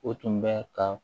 O tun bɛ ka